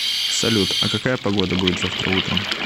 салют а какая погода будет завтра утром